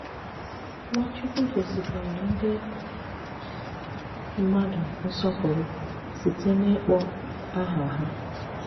Nwàchùkwù gòsìkwàrà ndị mmàdù nsọ̀pụrụ̀ sịtè n’ịkpọ̀ àhà hà.